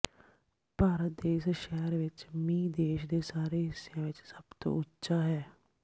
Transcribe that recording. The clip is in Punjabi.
ਭਾਰਤ ਦੇ ਇਸ ਸ਼ਹਿਰ ਵਿਚ ਮੀਂਹ ਦੇਸ਼ ਦੇ ਸਾਰੇ ਹਿੱਸਿਆਂ ਵਿਚ ਸਭ ਤੋਂ ਉੱਚਾ ਹੈ